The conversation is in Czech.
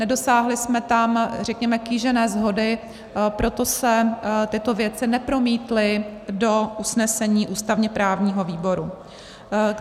Nedosáhli jsme tam, řekněme, kýžené shody, proto se tyto věci nepromítly do usnesení ústavně-právního výboru.